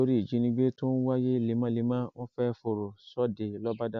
nítorí ìjínigbé tó ń wáyé lemọlemọ wọn fẹẹ fọrọ sóde lọbàdà